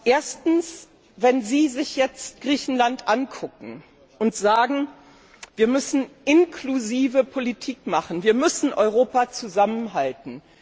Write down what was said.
Erstens Wenn Sie sich jetzt Griechenland ansehen und sagen, wir müssen inklusive Politik machen, wir müssen Europa zusammenhalten.